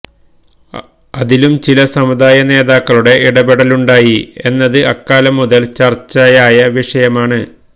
അതിലും ചില സമുദായ നേതാക്കളുടെ ഇടപെടലുണ്ടായി എന്നത് അക്കാലം മുതല് ചര്ച്ചയായ വിഷയമാണ്